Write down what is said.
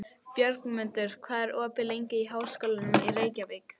Björgmundur, hvað er opið lengi í Háskólanum í Reykjavík?